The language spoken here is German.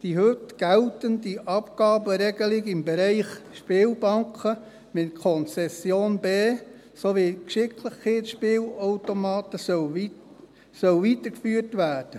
Die heute geltende Abgabenregelung im Bereich Spielbanken mit Konzession B sowie Geschicklichkeitsspielautomaten soll weitergeführt werden.